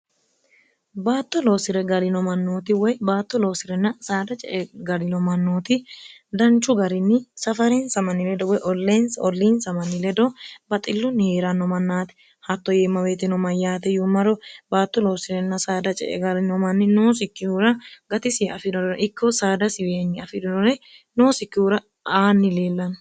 baatto loossi're galino mannooti woy baatto loosi'renna saada ce e garino mannooti danchu garinni safareensa manni ledo woy oleensi olliinsa manni ledo baxillunni hii'ranno mannaati hatto yiimmaweetino mayyaate yuummaro baatto loossi'renna saada ce e galino manni noosikkihura gatisi afi'ronore ikko saada swnyi afirinore noosikkihura aanni liillanno